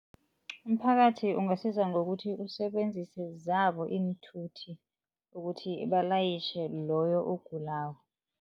Umphakathi ungasiza ngokuthi usebenzise zabo iinthuthi ukuthi balayitjhe loyo ogulako.